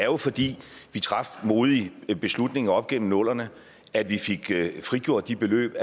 jo fordi vi traf modige beslutninger op gennem nullerne at vi fik frigjort de beløb